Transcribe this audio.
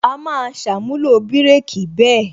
A máa ṣàmúlò bireki bẹ́ẹ̀